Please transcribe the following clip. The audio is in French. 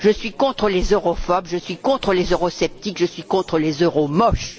Je suis contre les europhobes, je suis contre les eurosceptiques, je suis contre les euromoches.